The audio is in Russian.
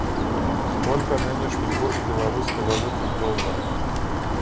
сколько нынешний курс белорусской валюты в доллары